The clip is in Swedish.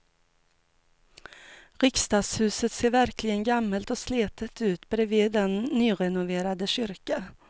Riksdagshuset ser verkligen gammalt och slitet ut bredvid den nyrenoverade kyrkan.